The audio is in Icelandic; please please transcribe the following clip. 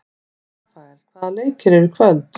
Rafael, hvaða leikir eru í kvöld?